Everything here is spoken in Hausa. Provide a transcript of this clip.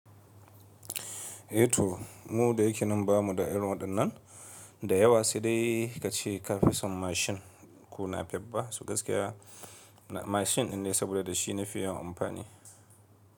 E to mu da yake nan ba mu da irin waɗannan da yawa sai dai ka ce ka fi son mashin ko napep ɓa so gaskiya mashin in ne saboda da shi na fi yawan amfani.